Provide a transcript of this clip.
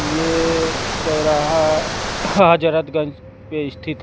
यह चौराहा हाजरतगंज पे स्थित।